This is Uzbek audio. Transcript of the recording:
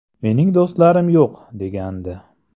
Mening do‘stlarim yo‘q”, – degandi.